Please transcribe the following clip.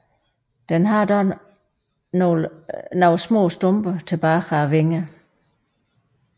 Den har dog nogle små stumper tilbage af vingerne